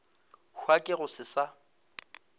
hwa ke go se sa